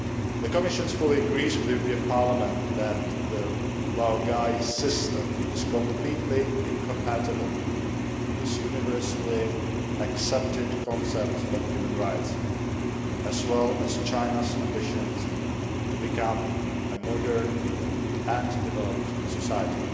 The Commission fully agrees with the European Parliament that the laogai system is completely incompatible with universally accepted concepts of human rights, as well as China's ambitions to become a modern and developed society.